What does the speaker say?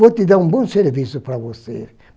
Vou te dar um bom serviço para você.